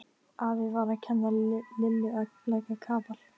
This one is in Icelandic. Afi var að kenna Lillu að leggja kapal.